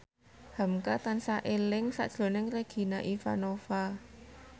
hamka tansah eling sakjroning Regina Ivanova